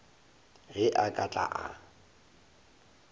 ge a ka tla a